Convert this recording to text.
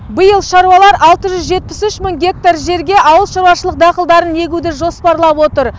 биыл шаруалар алты жүз жетпіс үш мың гектар жерге ауыл шаруашылығы дақылдарын егуді жоспарлап отыр